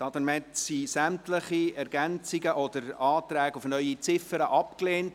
Damit wurden sämtliche Ergänzungen oder Anträge auf neue Ziffern abgelehnt.